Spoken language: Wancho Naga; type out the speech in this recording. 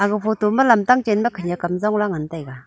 aga photo ma lamtang chan ma khenyak kam jong la ngan taiga.